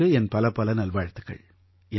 உங்களுக்கு என் பலப்பல நல்வாழ்த்துக்கள்